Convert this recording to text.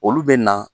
Olu bɛ na